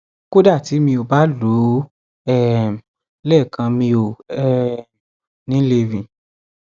kódà tí mi ò bá lò óo um lẹẹkan mi ò um ní lè rìn